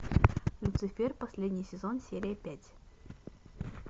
люцифер последний сезон серия пять